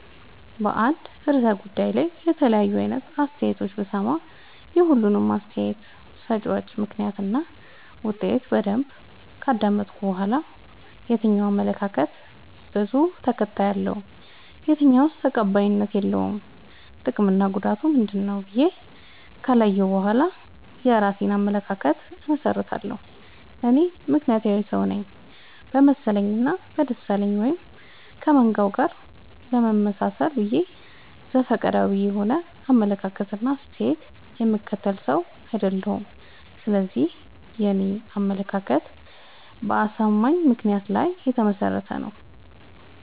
በአንድ እርሰ ጉዳይ ላይ የተለያዩ አይነት አስተያየቶችን ብሰማ። የሁሉንም አስታየት ሰጭወች ምክንያት እና ውጤት በደንብ ካዳመጥኩ በኋላ። የትኛው አመለካከት በዙ ተከታይ አለው። የትኛውስ ተቀባይነት የለውም ጥቅምና ጉዳቱ ምንድ ነው ብዬ ከለየሁ በኋላ የእራሴን አመለካከት አመሠርታለሁ። እኔ ምክንያታዊ ሰውነኝ በመሰለኝ እና በደሳለኝ ወይም ከመንጋው ጋር ለመመጣሰል ብዬ ዘፈቀዳዊ የሆነ አመለካከት እና አስተያየት የምከተል ሰው። አይደለሁም ስለዚህ የኔ አመለካከት በአሳማኝ ምክንያት ላይ የተመሰረተ ነው።